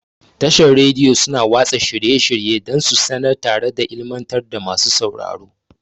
Tashar Radiyo suna watsa shirye-shirye dan su sanar tare da ilimantar da masu sauraro.